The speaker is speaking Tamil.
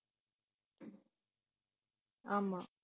ஆமா